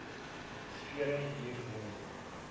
frere hier noem